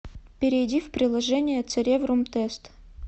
перейди в приложение цереврум тест